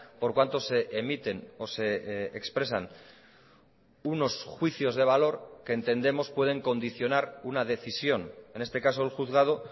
por cuanto se emiten o se expresan unos juicios de valor que entendemos pueden condicionar una decisión en este caso el juzgado